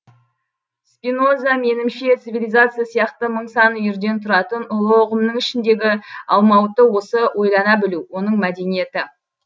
спиноза менімше цивилизация сияқты мың сан үйірден тұратын ұлы ұғымның ішіндегі алмауыты осы ойлана білу оның мәдениеті